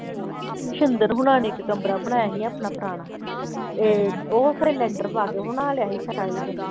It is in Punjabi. ਸਿੰਦਰ ਹੋਣਾਂ ਨੇ ਇੱਕ ਕਮਰਾ ਬਣਾਇਆ ਸੀ ਆਪਣਾ ਪੁਰਾਣਾ ਤੇ ਉਹ ਖਰੇ ਲੈਂਟਰ ਪਾ ਕੇ ਬਣਾ ਲਿਆ ਸੀ ਸ਼ਾਇਦ।